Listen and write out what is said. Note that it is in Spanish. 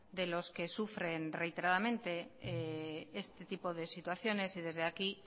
de los que sufren reiteradamente este tipo de situaciones y desde aquí